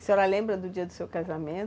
A senhora lembra do dia do seu casamento?